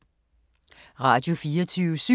Radio24syv